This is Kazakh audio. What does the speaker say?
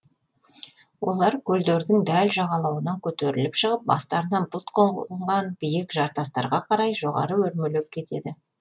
олар көлдердің дәл жағалауынан көтеріліп шығып бастарына бұлт қонған биік жартастарға қарай жоғары өрмелеп кетеді